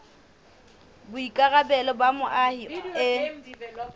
ke boikarabelo ba moahi e